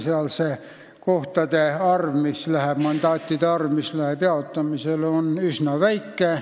Seal on mandaatide arv, mis läheb jaotamisele, üsna väike.